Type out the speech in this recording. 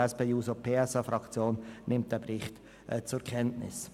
Die SP-JUSO-PSA-Fraktion nimmt den Bericht zur Kenntnis.